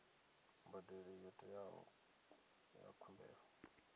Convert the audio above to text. mbadelo yo teaho ya khumbelo